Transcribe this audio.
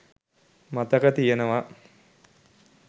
මතක තියෙනවා.